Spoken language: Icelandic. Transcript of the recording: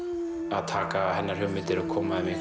að taka hennar hugmyndir og koma þeim í